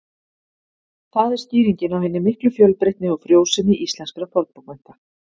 Það er skýringin á hinni miklu fjölbreytni og frjósemi íslenskra fornbókmennta.